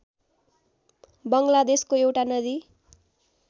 बङ्गलादेशको एउटा नदी